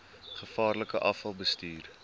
gevaarlike afval bestuur